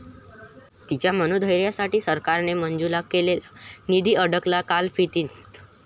ती'च्या मनोधैर्यासाठी सरकारने मंजूर केलेला निधी अडकला लालफितीत